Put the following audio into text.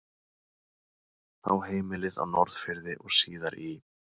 Á heimilið á Norðfirði og síðar í